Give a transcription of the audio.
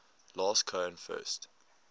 last cohen first